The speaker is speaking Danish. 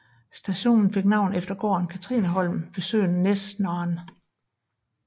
Stationen fik navn efter gården Cathrineholm ved søen Näsnaren